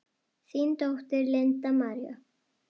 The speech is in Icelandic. Þín dóttir, Linda María.